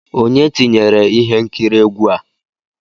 Onye tinyere ihe nkiri egwu a?